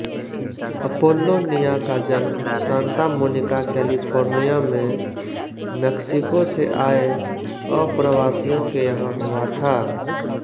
अपोल्लोनिया का जन्म Santa Monica California में मेक्सिको से आये अप्रवासियों के यहाँ हुआ था